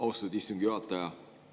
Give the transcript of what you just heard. Austatud istungi juhataja!